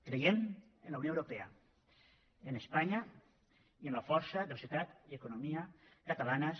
creiem en la unió europea en espanya i en la força de la societat i l’economia catalanes